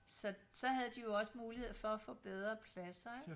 Så så havde de jo også mulighed for at få bedre pladser ikke